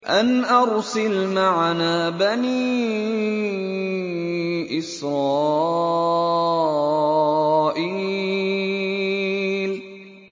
أَنْ أَرْسِلْ مَعَنَا بَنِي إِسْرَائِيلَ